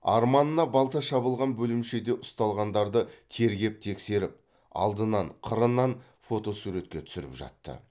арманына балта шабылған бөлімшеде ұсталғандарды тергеп тексеріп алдынан қырынан фотосуретке түсіріп жатты